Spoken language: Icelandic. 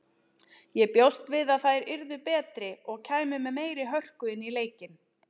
Ég bjóst við að þær yrðu betri og kæmu með meiri hörku inn í leikinn.